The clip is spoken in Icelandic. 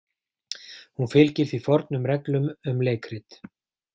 Hún fylgir því fornum reglum um leikrit.